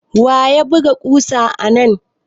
Wa ya buga ƙusa anan?